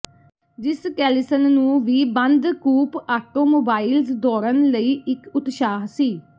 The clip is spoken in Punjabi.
ਜਿਮ ਕੈਲਿਸਨ ਨੂੰ ਵੀ ਬੰਦ ਕੂਪ ਆਟੋਮੋਬਾਈਲਜ਼ ਦੌੜਨ ਲਈ ਇੱਕ ਉਤਸ਼ਾਹ ਸੀ